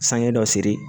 San ye dɔ seri